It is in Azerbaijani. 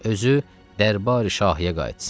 Özü dərbari şahiyə qayıtsın.